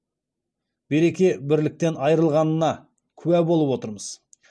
береке бірліктен айырылғанына куә болып отырмыз